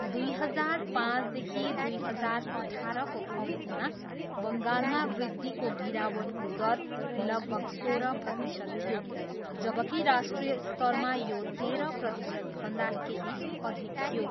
दुई हजार पाँचदेखि दुई हजार अठारको अवधिमा बङ्गालमा वृद्धिको गिरावटको दर लगभग सोह्र प्रतिशत थियो जबकि राष्ट्रिय स्तरमा यो तेह्र प्रतिशतभन्दा केही अधिक थियो।